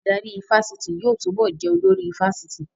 Adarí ifásitì yóò túbọ̀ jẹ́ olórí ifásitì